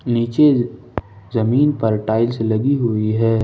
नीचे जमीन पर टाइल्स लगी हुई है।